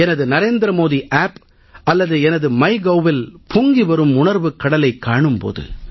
எனது நரேந்திர மோடி ஆப் அல்லது எனது மை govஇல் பொங்கிவரும் உணர்வுக் கடலைக் காணும் போது